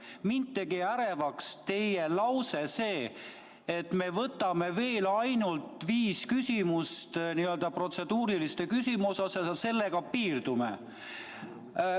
Mind tegi ärevaks see teie lause, et me võtame veel ainult viis protseduurilist küsimust ja sellega piirdume.